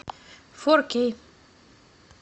фор кей